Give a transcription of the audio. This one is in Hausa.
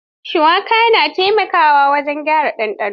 Shuwaka na taimakawa wajen gyara ɗanɗano.